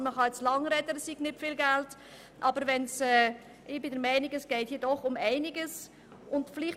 Ich bin der Meinung, dass es hier durchaus um einiges geht.